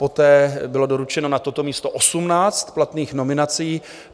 Poté bylo doručeno na toto místo 18 platných nominací.